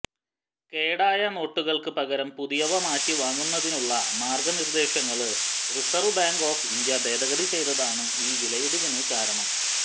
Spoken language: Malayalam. കേടായ നോട്ടുകള്ക്ക് പകരം പുതിയവ മാറ്റിവാങ്ങുന്നതിനനുള്ള മാര്ഗനിര്ദേശങ്ങള് റിസര്വ് ബാങ്ക് ഓഫ് ഇന്ത്യ ഭേദഗതി ചെയ്തതാണ് ഈ വിലയിടിവിന് കാരണം